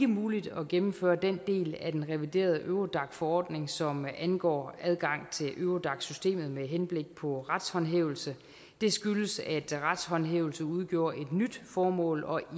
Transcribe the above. muligt at gennemføre den del af den reviderede eurodac forordning som angår adgang til eurodac systemet med henblik på retshåndhævelse det skyldes at retshåndhævelse udgjorde et nyt formål og